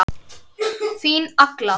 Þín Agla.